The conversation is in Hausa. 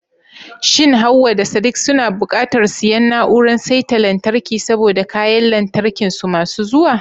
Shin Hawwa da Sadiq suna buƙatar siyan na'urar saita lantarki saboda kayan lantarkin su masu zuwa?